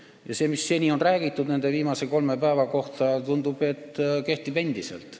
Tundub, et see, mida seni on räägitud nende viimase kolme päeva kohta, kehtib endiselt.